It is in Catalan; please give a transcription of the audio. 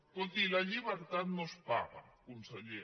escolti la llibertat no es paga conseller